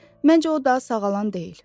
Məncə o daha sağalan deyil.